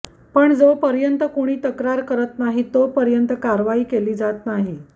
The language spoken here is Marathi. पण जोपर्यंत कुणी तक्रार करत नाही तोपर्यंत कारवाई केली जात नाही